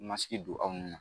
Masigi don aw ni